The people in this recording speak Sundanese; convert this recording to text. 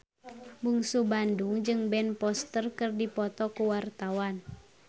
Bungsu Bandung jeung Ben Foster keur dipoto ku wartawan